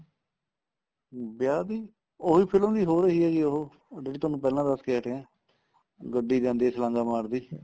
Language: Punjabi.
ਹਮ ਵਿਆਹ ਦੀ ਉਹੀ film ਦੀ ਹੋ ਰਹੀ ਏ ਜੀ ਉਹ ਜਿਹੜੀ ਤੁਹਾਨੂੰ ਪਹਿਲਾਂ ਦੱਸ ਕੇ ਹਟਿਆ ਗੱਡੀ ਜਾਂਦੀ ਏ ਛਲਾਂਗਾ ਮਾਰਦੀ